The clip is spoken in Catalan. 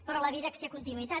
però la vida té continuïtat